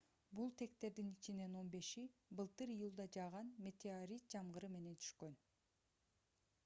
бул тектердин ичинен он беши былтыр июлда жааган метеорит жамгыры менен түшкөн